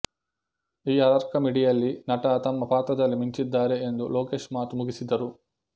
ಈ ಹಾರರ್ಕಾಮಿಡಿಯಲ್ಲಿ ನಟ ತಮ್ಮ ಪಾತ್ರದಲ್ಲಿ ಮಿಂಚಿದ್ದಾರೆ ಎಂದು ಲೋಕೇಶ್ ಮಾತು ಮುಗಿಸಿದರು